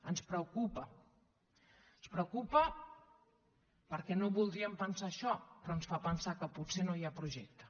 ens preocupa ens preocupa perquè no voldríem pensar això però ens fa pensar que potser no hi ha projecte